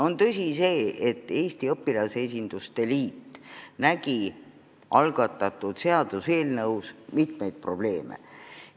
On tõsi see, et Eesti Õpilasesinduste Liit nägi algatatud seaduseelnõus mitmeid probleeme.